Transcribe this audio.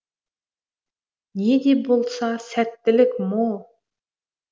не де болса сәттілік мо